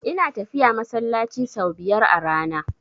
Ina tafiya masallaci sau biyar a rana.